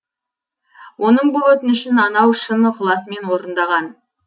оның бұл өтінішін анау шын ықыласымен орындаған